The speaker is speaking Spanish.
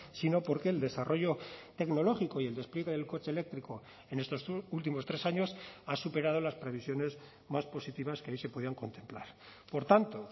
sino porque el desarrollo tecnológico y el despliegue del coche eléctrico en estos últimos tres años ha superado las previsiones más positivas que ahí se podían contemplar por tanto